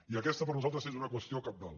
i aquesta per nosaltres és una qüestió cabdal